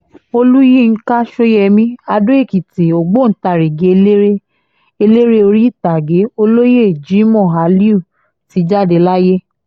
olùyinka sọyẹmi ado-ekìtì ọgbọ́ntagìrì eléré eléré orí ìtàgé olóyè jimoh aliu ti jáde láyé